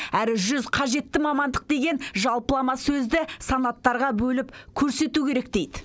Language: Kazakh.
әрі жүз қажетті мамандық деген жалпылама сөзді санаттарға бөліп көрсету керек дейді